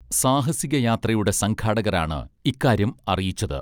സാഹസിക യാത്രയുടെ സംഘാടകർ ആണ് ഇക്കാര്യം അറിയിച്ചത്